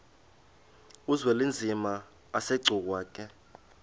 uzwelinzima asegcuwa ke